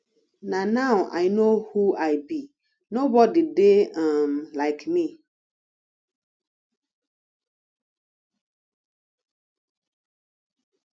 na now i no who i be nobody dey um like me